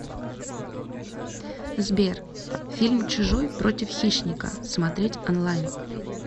сбер фильм чужой против хищника смотреть онлайн